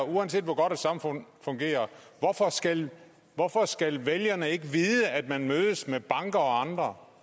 uanset hvor godt et samfund fungerer hvorfor skal hvorfor skal vælgerne ikke vide at man mødes med banker og andre